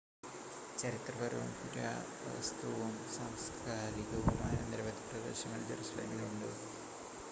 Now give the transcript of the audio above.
ചരിത്രപരവും പുരാവസ്തുവും സാംസ്കാരികവുമായ നിരവധി പ്രദേശങ്ങൾ ജറുസലേമിനുണ്ട്